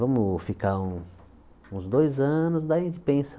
Vamos ficar um uns dois anos, daí a gente pensa.